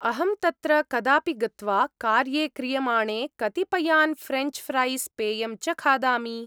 अहं तत्र कदापि गत्वा, कार्ये क्रियमाणे कतिपयान् फ्रेञ्च् फ्रैस्, पेयं च खादामि।